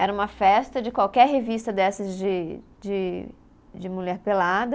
Era uma festa de qualquer revista dessas de de, de mulher pelada.